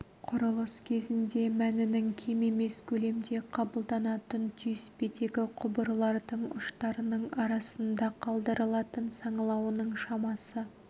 құрылыс кезінде мәнінің кем емес көлемде қабылданатын түйіспедегі құбырлардың ұштарының арасында қалдырылатын саңылауының шамасы